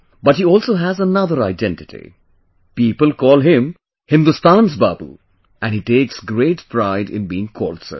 But he also has another identity people call him Hindustani's Babu, and, he takes great pride in being called so